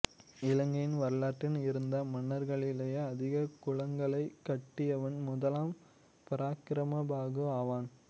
இலங்கையின் வரலாற்றில் இருந்த மன்னர்களிலேயே அதிக குளங்களைக் கட்டியவன் முதலாம் பராக்கிரமபாகு ஆவான்